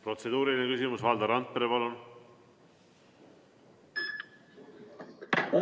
Protseduuriline küsimus, Valdo Randpere, palun!